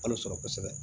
Kalo sɔrɔ kosɛbɛ